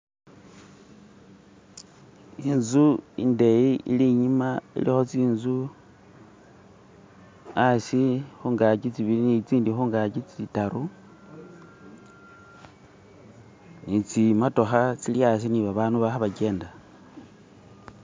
Inzu indeyi ili inyuma iliko zinzu asi, kungaji zibili ni izindi kungaji zidatu nizimotoka zili asi ni babantu balikugyenda